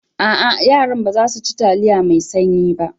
A'a, yaran ba za su ci taliyar mai sanyi ba.